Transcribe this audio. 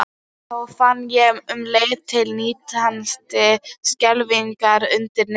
Þó fann ég um leið til nístandi skelfingar undir niðri.